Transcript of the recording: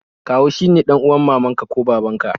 Kawu shi ne dan'uwar mamanka ko babanka